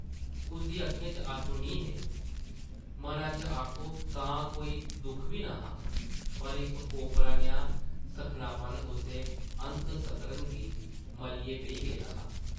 उसदी अक्खें च अत्थरू निं हे, मना च आखो तां कोई दुख बी न’हा, पर इक ओपरा नेहा सक्खनापन उसदे अंतसकरन गी मल्लियै बेही गेदा हा ।